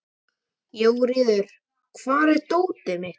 Jóríður, hvar er dótið mitt?